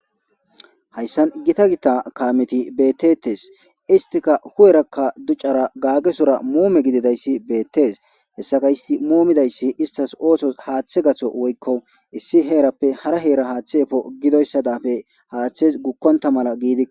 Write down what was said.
Hayssan gita gita kaameti bettetesi.isttikka hu'erakka ducara gaagesora muumue gididayssi beetesi. Hessakka istti muumidayssi isttasi oosozi haathe gatho woykko issi heerappe hara heera haathe efo gidoyssa daafe haathezi gukkontta mala giidi...